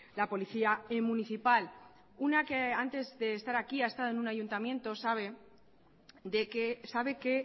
la policía municipal una que antes de estar aquí ha estado en un ayuntamiento sabe que